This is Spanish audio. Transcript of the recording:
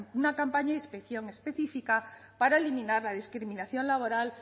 una campaña de inspección específica para eliminar la discriminación laboral